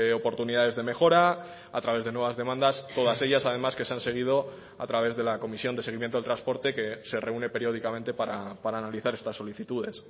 oportunidades de mejora a través de nuevas demandas todas ellas además que se han seguido a través de la comisión de seguimiento del transporte que se reúne periódicamente para analizar estas solicitudes